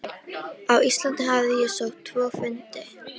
Á Íslandi hafði ég sótt tvo fundi.